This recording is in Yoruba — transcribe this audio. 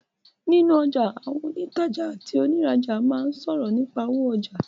Nínú ọjà, àwọn òǹtajà àti òǹrajà máa ń sọ̀rọ̀ nípà owó ọjà.